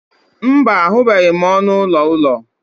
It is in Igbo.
mba, ahụbeghị m ọnụ ụlọ ụlọ